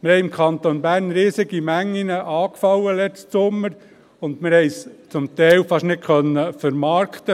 Letzten Sommer sind im Kanton Bern riesige Mengen angefallen, wir konnten es zum Teil fast nicht vermarkten.